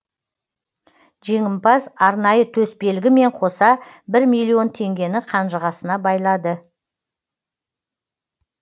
жеңімпаз арнайы төсбелгі мен қоса бір миллион теңгені қанжығасына байлады